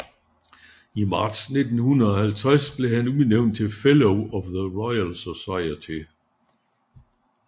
I marts 1950 blev han udnævnt til Fellow of the Royal Society